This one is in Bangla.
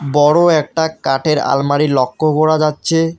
বড়ো একটা কাঠের আলমারি লক্ষ করা যাচ্ছে।